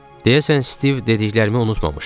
Deyəsən Stiv dediklərimi unutmamışdı.